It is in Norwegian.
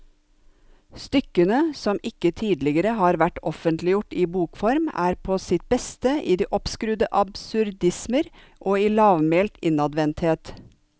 Stykkene, som ikke tidligere har vært offentliggjort i bokform, er på sitt beste i de oppskrudde absurdismer og i lavmælt innadvendthet.